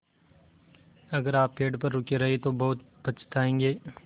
अगर आप पेड़ पर रुके रहे तो बहुत पछताएँगे